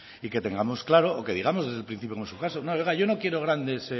y que tengamos claro o que digamos desde el principio como en su caso no oiga yo no quiero grandes